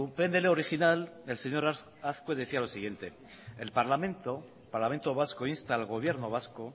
pnl original el señor azkue decía lo siguiente el parlamento vasco insta al gobierno vasco